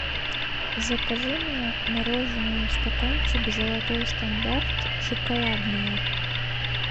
закажи мне мороженое стаканчик золотой стандарт шоколадное